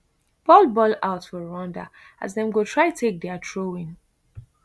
ball ball out for rwanda as dem go try take dia throwin